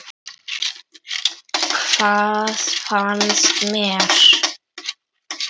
Hvað fannst mér?